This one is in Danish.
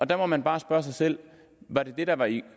der må man bare spørge sig selv var det det der i